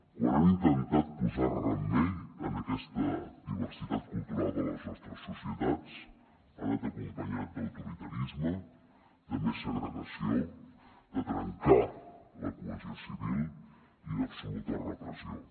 quan han intentat posar remei a aquesta diversitat cultural de les nostres societats ha anat acompanyat d’autoritarisme de més segregació de trencar la cohesió civil i d’absoluta repressió